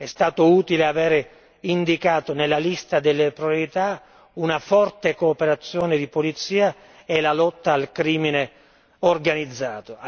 È stato utile avere indicato nella lista delle priorità una forte cooperazione di polizia e la lotta al crimine organizzato.